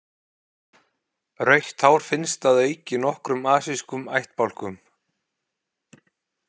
Rautt hár finnst að auki í nokkrum asískum ættbálkum.